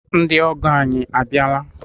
Ndị ọgọ ànyị a bịala?